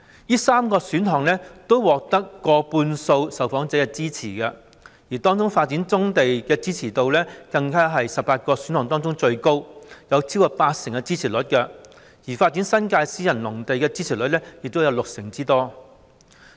這3個選項都獲得過半數受訪者的支持，當中發展棕地的支持度更是在18個選項當中最高，獲得超過八成的支持率，而發展新界私人農地的支持率亦有六成之高。